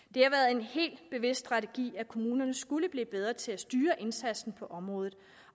en helt bevidst strategi at kommunerne skulle blive bedre til at styre indsatsen på området